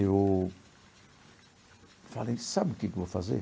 Eu falei, sabe o que que eu vou fazer?